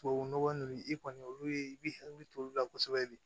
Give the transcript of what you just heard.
Tubabu nɔgɔ ninnu i kɔni olu ye i b'i hakili to olu la kosɛbɛ de